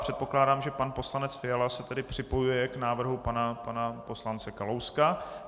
Předpokládám, že pan poslanec Fiala se tedy připojuje k návrhu pana poslance Kalouska.